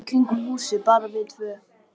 Við löbbuðum í kringum húsið, bara við tvö.